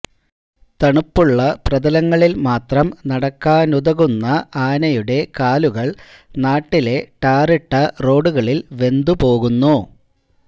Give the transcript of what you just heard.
തണുപ്പുള്ള പ്രതലങ്ങളിൽ മാത്രം നടക്കാനുതകുന്ന ആനയുടെ കാലുകൾ നാട്ടിലെ ടാറിട്ട റോഡുകളിൽ വെന്തു പോകുന്നു